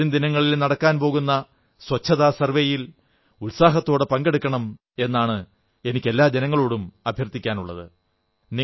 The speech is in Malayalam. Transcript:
വരും ദിനങ്ങളിൽ നടക്കാൻ പോകുന്ന സ്വച്ഛതാ സർവ്വേയിൽ ഉത്സാഹത്തോടെ പങ്കെടുക്കണം എന്നാണ് എനിക്ക് എല്ലാ ജനങ്ങളോടും അഭ്യർഥിക്കാനുള്ളത്